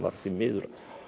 því miður